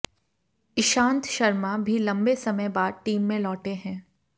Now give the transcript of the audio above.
ईशांत शर्मा भी लंबे समय बाद टीम में लौटे हैं